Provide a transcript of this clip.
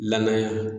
Lamɛn